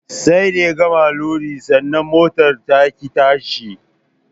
Sai da ya gama lodi sannan motar taƙi tashi